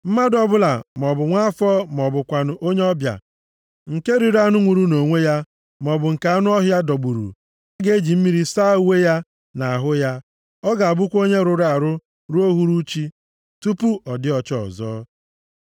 “ ‘Mmadụ ọbụla, maọbụ nwa afọ ma ọ bụkwanụ onye ọbịa, nke riri anụ nwụrụ nʼonwe ya, maọbụ nke anụ ọhịa dọgburu, + 17:15 \+xt Ọpụ 22:31\+xt* ga-eji mmiri saa uwe ya na ahụ ya, ọ ga-abụkwa onye rụrụ arụ ruo uhuruchi tupu ọ dị ọcha ọzọ.